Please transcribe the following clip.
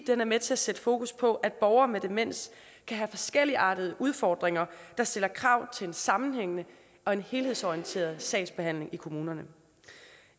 den er med til at sætte fokus på at borgere med demens kan have forskelligartede udfordringer der stiller krav til en sammenhængende og helhedsorienteret sagsbehandling i kommunerne